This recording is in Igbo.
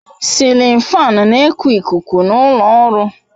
Sịlin fáan na eku ikuku n'ulo ọrụ